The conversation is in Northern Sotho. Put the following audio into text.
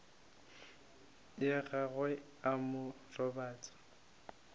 ya gagwe a mo robatša